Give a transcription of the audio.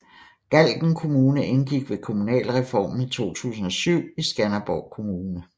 Galten Kommune indgik ved kommunalreformen i 2007 i Skanderborg Kommune